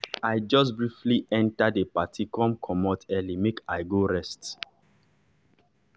i jus briefly enter d party come comot early make i go rest.